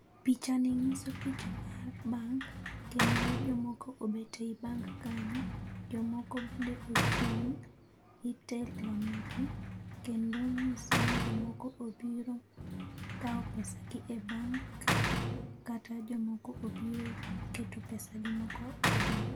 Pichani nyiso picha mar bank kendo jomoko obet ei bank kanyo. Jomoko bende ochung' itelo negi kendo nyiso ni jomoko obiro kao pesagi e bank kata jomoko obiro keto pesagi moko e bank.